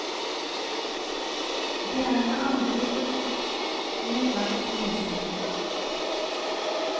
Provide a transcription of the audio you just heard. Det er med andre ord vel verdt å lese.